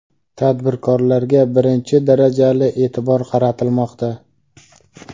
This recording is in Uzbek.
tadbirkorlarga birinchi darajali e’tibor qaratilmoqda.